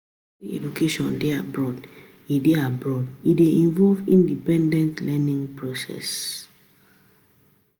University education dey broad, e dey broad, e dey involve independent learning process